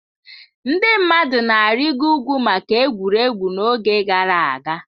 Ndị mmadụ na-arịịgo ugwu maka egwuregwu n'oge gara aga.